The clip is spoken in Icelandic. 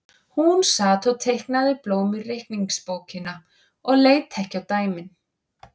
Hún sat og teiknaði blóm í reikningsbókina og leit ekki á dæmin.